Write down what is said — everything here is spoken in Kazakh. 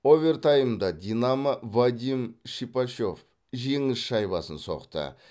овертаймда динамо вадим шипачев жеңіс шайбасын соқты